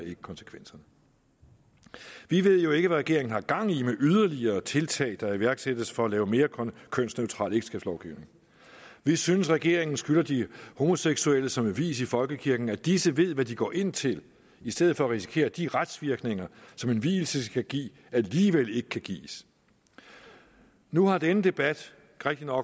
konsekvenserne vi ved jo ikke hvad regeringen har gang i med yderligere tiltag der iværksættes for at lave mere kønsneutral ægteskabslovgivning vi synes at regeringen skylder de homoseksuelle som vil vies i folkekirken at disse ved hvad de går ind til i stedet for at risikere at de retsvirkninger som en vielse skal give alligevel ikke kan gives nu har denne debat